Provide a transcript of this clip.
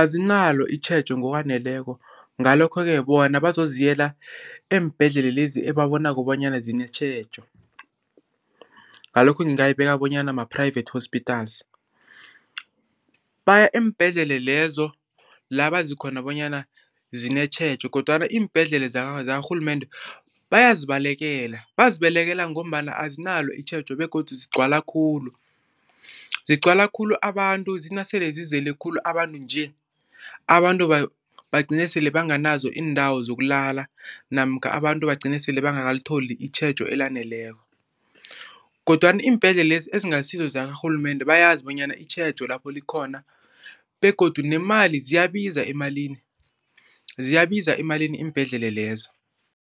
Azinalo itjhejo ngokwaneleko ngalokho-ke bona bazoziyela eembhedlela lezi ebabonako bonyana zinetjhejo, ngalokho ngingayibeka bonyana ma-private hospitas. Baya eembhedlela lezo la bazi khona bonyana zinetjhejo kodwana iimbhedlela zakarhulumende bayazibalekela. Bazibekele ngombana azinalo itjhejo begodu zigcwala khulu. Zigcwala khulu abantu zinasele zizele khulu abantu nje, abantu bagcine sele banganazo iindawo zokulala namkha abantu bagcine sele bangakalitholi itjhejo elaneleko kodwana iimbhedlelezi ezingasizo zikarhulumende bayazi bonyana itjhejo lapho likhona begodu nemali ziyabiza emalini, ziyabiza emalini iimbhedlela lezo.